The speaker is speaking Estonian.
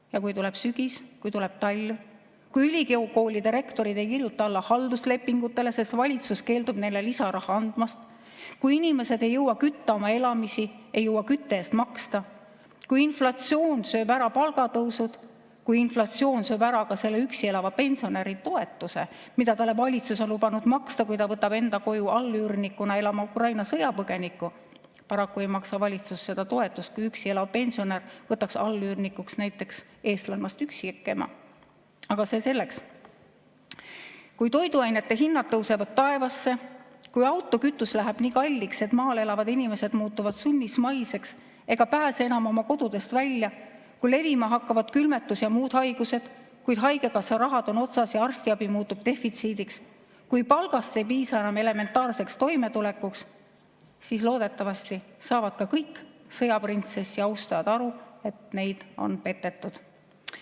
Ja kui tuleb sügis, kui tuleb talv, kui ülikoolide rektorid ei kirjuta alla halduslepingutele, sest valitsus keeldub neile lisaraha andmast, kui inimesed ei jõua kütta oma elamist, ei jõua kütte eest maksta, kui inflatsioon sööb ära palgatõusu, kui inflatsioon sööb ära ka selle üksi elava pensionäri toetuse, mida valitsus on talle lubanud maksta, kui ta võtab enda koju allüürnikuna elama Ukraina sõjapõgeniku – paraku ei maksa valitsus seda toetust, kui üksi elav pensionär võtaks allüürnikuks näiteks eestlannast üksikema, aga see selleks –, kui toiduainete hinnad tõusevad taevasse, kui autokütus läheb nii kalliks, et maal elavad inimesed muutuvad sunnismaiseks ega pääse enam oma kodust välja, kui levima hakkavad külmetus‑ ja muud haigused, kuid haigekassa raha on otsas ja arstiabi muutub defitsiidiks, kui palgast ei piisa enam elementaarseks toimetulekuks, siis loodetavasti saavad ka kõik sõjaprintsessi austajad aru, et neid on petetud.